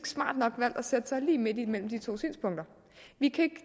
smart nok valgt at stille sig lige midt imellem de to synspunkter